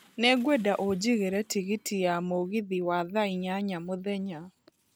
Nĩ ngwenda ũnjigĩre tigiti ya mũgithi wa thaa inyanya mũthenya